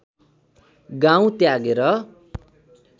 गाउँ त्यागेर